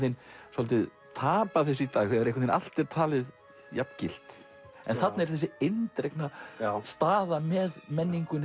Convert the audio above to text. svolítið tapað þessu í dag þegar einhvern allt er talið jafn gilt þarna er þessi eindregna staða með menningunni